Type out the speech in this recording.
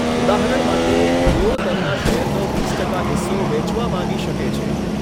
ઉદાહરણ માટે, તેઓ તેમના શેરનો વીસ ટકા હિસ્સો વેચવા માંગી શકે છે.